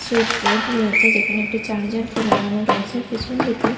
Switch board রয়েছে যেখানে একটি চার্জার কে লাগানো রয়েছে। আর পেছন দিকে।